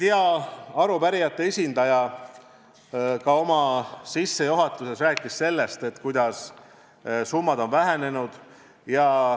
Hea arupärijate esindaja rääkis oma sissejuhatuses ka sellest, kuidas summad on vähenenud.